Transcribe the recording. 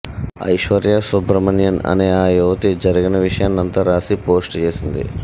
ఐశ్వర్య సుబ్రహ్మణ్యన్ అనే ఆ యువతి జరిగిన విషయాన్నంతా రాసి పోస్ట్ చేసింది